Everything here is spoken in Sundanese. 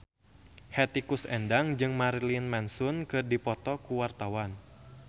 Hetty Koes Endang jeung Marilyn Manson keur dipoto ku wartawan